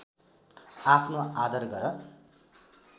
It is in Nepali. आफ्नो आदर गर